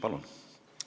Palun!